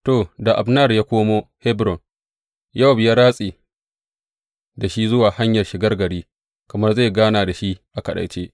To, da Abner ya komo Hebron, Yowab ya ratse da shi zuwa hanyar shigar gari kamar zai gana da shi a kaɗaice.